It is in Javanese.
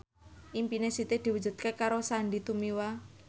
impine Siti diwujudke karo Sandy Tumiwa